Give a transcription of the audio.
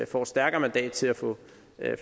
får et stærkere mandat til at få